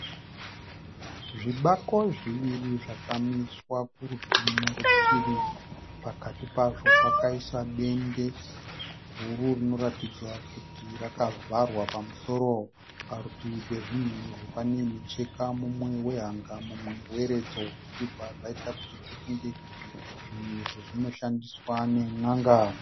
Zvibako zviri zvakamiswa kurutivi nerutivi. Pakati pazvo pakaiswa dende guru rinoratidza kuti rakavharwa pamusoro. Parutivi pezvinhu izvi panemicheka mumwe wehanga mumwe weredzo zvinobva zvaita kuti tifunge kuti zvinhu izvi zvinoshandiswa nen'anga.